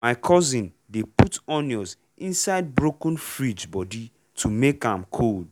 my cousin dey put onion inside broken fridge body to make am cold.